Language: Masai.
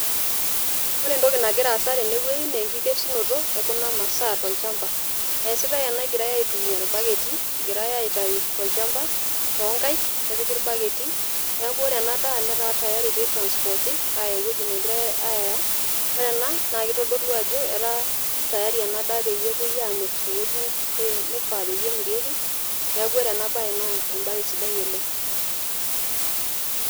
Ore entoki nagira aasa naa enkikesunoto ekuna masaa tolchamba, esitae ena egirae aitumia irbaketi , egira aitayu toonkaik tolchamba nepiki irbaketi ,niaku ore ena daa netaa tayari pitransporti , ore ena naa kitoolu ajo etaa ena daa tayari pepuoi amir tewueji nifaa peyie emirieki , niaku ore enabae naa embae sidai oleng.